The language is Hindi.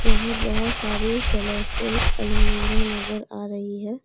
यहां बहोत सारी कलरफुल अलमीरा नजर आ रही है।